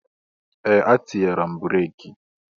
Ee! Etinyere m breeki.